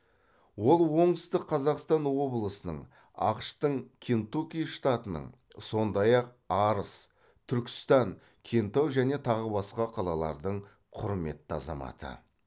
ол оңтүстік қазақстан облысының ақш тың кентукки штатының сондай ақ арыс түркістан кентау және тағы басқа қалалардың құрметті азаматы